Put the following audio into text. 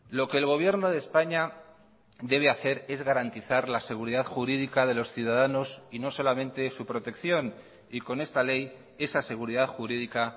lo que el gobierno de españa debe hacer es garantizar la seguridad jurídica de los ciudadanos y no solamente su protección y con esta ley esa seguridad jurídica